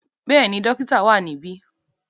Bẹ́ẹ̀ni, dokita wa nibi.